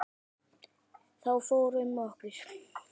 Þá fór um okkur.